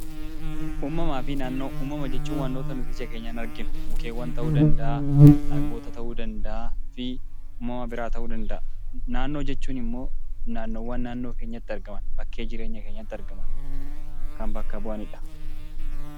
Uumamaa fi naannoo. Uumama jechuun waantota nuti ija keenyaan arginu mukkeewwan ta'uu danda'a, dhagoota ta'uu danda'a. Naannoo jechuun immoo naannoowwan naannoo keenyatti argaman , bakkee jireenya keenyatti argaman, kan bakka bu'anidha.